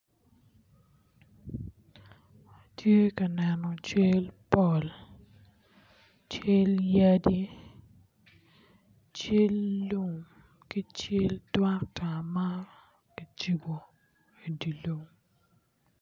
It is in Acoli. Atye ka neno cal pol cal yadi cal lum ki cal trukta ma ocung i di lum